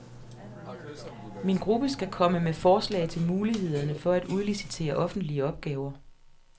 Min gruppe skalkomme med forslag til mulighederne for at udlicitere offentlige opgaver.